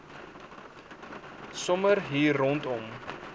sommer hier rondom